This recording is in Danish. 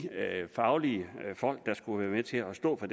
faglige folk der skulle være med til at stå for